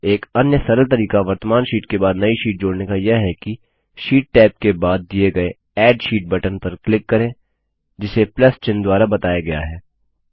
एक अन्य सरल तरीका वर्त्तमान शीट के बाद नई शीट जोड़ने का यह है कि शीट टैब के बाद दिए गए एड शीट बटन पर क्लिक करें जिसे प्लस चिन्ह द्वारा बताया गया है